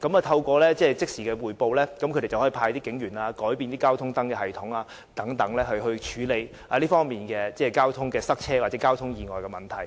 透過即時匯報，交通部可以以派出警員、改變交通燈系統的運作等方式，處理交通擠塞或交通意外的問題。